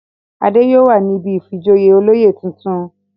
Adé yóò wà ní ibi ìfijoyè olóyè tuntun.